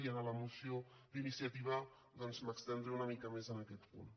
i en la mo·ció d’iniciativa m’estendré una mica més en aquest punt